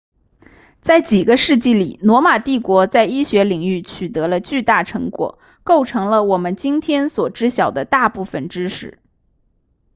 在几个世纪里罗马帝国在医学领域取得了巨大成果构成了我们今天所知晓的大部分知识